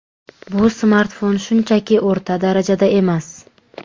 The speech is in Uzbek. Bu smartfon shunchaki o‘rta darajada emas.